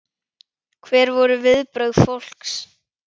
Hver voru viðbrögð fólks?